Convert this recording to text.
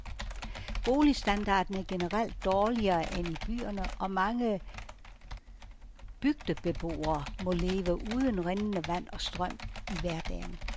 Boligstandarden er generelt dårligere end i byerne, og mange bygdebeboere må leve uden rindende vand og strøm i hverdagen.